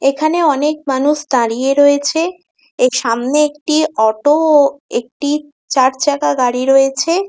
এখানে অনেক মানুষ দাড়িয়ে রয়েছে এর সামনে একটি অটো ও একটি চার চাকা গাড়ি রয়েছে ।